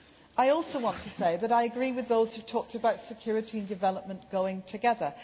I also want to say that I agree with those who talked about security and development going together.